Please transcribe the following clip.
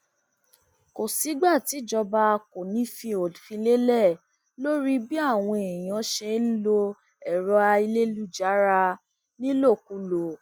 kò sígbà tíjọba kò ní í fi òfin lélẹ lórí bí àwọn èèyàn ṣe ń lo ẹrọ ayélujára nílòkulò